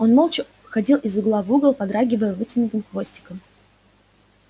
он молча ходил из угла в угол подрагивая вытянутым хвостиком